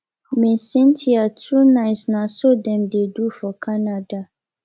ms cynthia too nice na so dem dey do for canada